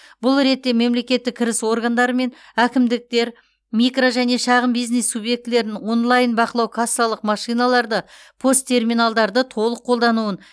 бұл ретте мемлекеттік кіріс органдары мен әкімдіктер микро және шағын бизнес субъектілерін онлайн бақылау кассалық машиналарды пост терминалдарды толық қолдануын